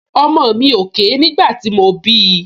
Ọmọ mi ò ké nígbà tí mo bí i